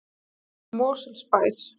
Mosfellsbæ